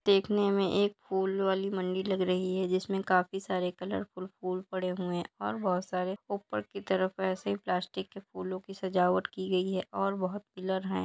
देखने में एक फूल वाली मंडी लग रही है जिसमे काफी सारे कलरफुल फूल पड़े हुए है और बहुत सारे ऊपर की तरफ ऐसे प्लास्टिक के फूलो की सजावट की गई है और बहुत पिलर है।